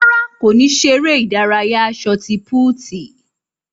Rárá, kò ní ṣeré ìdárayá sọti púútu